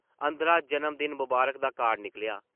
अंदरा ‘जनम-दिन मबारख’ दा कार्ड निकलेआ ।